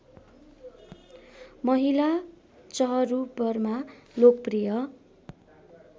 महिला चहरूबरमा लोकप्रिय